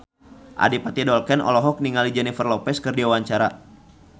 Adipati Dolken olohok ningali Jennifer Lopez keur diwawancara